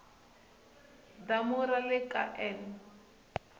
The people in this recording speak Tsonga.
damu ra le ka n